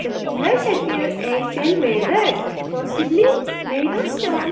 The pillars appear possibly made of stone.